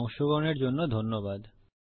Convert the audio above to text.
এতে অংশগ্রহনের জন্য ধন্যবাদ